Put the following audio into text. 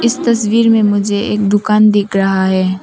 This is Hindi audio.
इस तस्वीर में मुझे एक दुकान दिख रहा है।